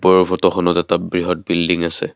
ওপৰৰ ফটোখনত এটা বৃহৎ বিল্ডিং আছে।